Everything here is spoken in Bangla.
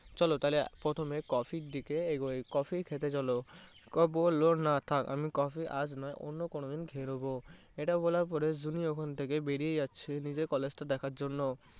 চলো তাহলে প্রথমে coffee এর দিকে এগোই, coffee খেতে চলো। ও বললো না থাকে আমি coffee আজ নয় অন্য কোনো দিন খেয়ে নেবো এটা বলার পর জুনি ওখান থেকে বেরিয়ে যাচ্ছে নিজের college টা দেখার জন্য।